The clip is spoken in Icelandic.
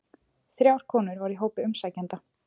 Þrjár konur voru í hópi umsækjenda